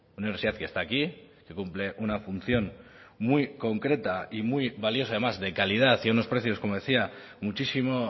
universidad que está aquí que cumple una función muy concreta y muy valiosa además de calidad y a unos precios como decía muchísimo